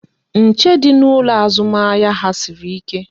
Nche dị n'ụlọ azụmahịa ha sịrị ike